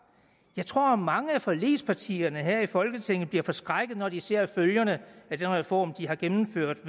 jeg tror mange af forligspartierne her i folketinget bliver forskrækket når de ser følgerne af den reform de har gennemført